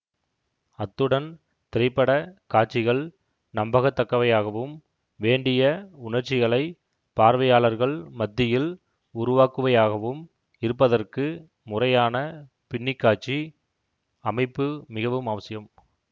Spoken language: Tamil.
அத்துடன் திரை பட காட்சிகள் நம்பகத்தக்கவையாகவும் வேண்டிய உணர்ச்சிகளைப் பார்வையாளர்கள் மத்தியில் உருவாக்குவையாகவும் இருப்பதற்கு முறையான பின்ணிக்காட்சி அமைப்பு மிகவும் அவசியம்